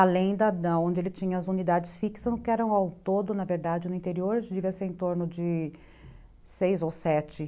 além onde ele tinha as unidades fixas, que eram ao todo, na verdade, no interior, devia ser em torno de seis ou sete.